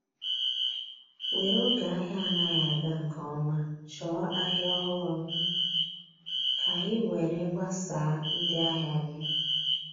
were oge ahia anaghi aga nke ọma chọọ ahịa ọhụrụ ka ị were gbasaa ndị ahịa gị.